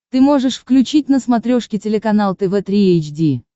ты можешь включить на смотрешке телеканал тв три эйч ди